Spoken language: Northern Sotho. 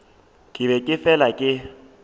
ke be ke fela ke